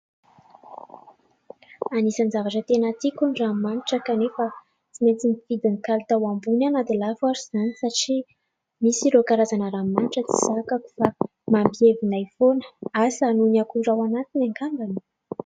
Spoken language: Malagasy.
Anisany zavatra tena tiako ny ranomanitra kanefa tsy maintsy nifidy ny kalitao ambony aho dia lafo ary izany satria misy ireo karazana ranomanitra tsy zakako fa mampievina foana, asa noho ny akora ao anatiny angambany.